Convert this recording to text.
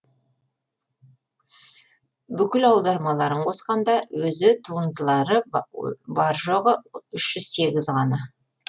бүкіл аудармаларын қосқанда өзі туындылары бар жоғы үш жүз сегіз ғана